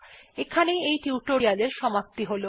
এখানেই এই টিউটোরিয়াল্ এর সমাপ্তি হল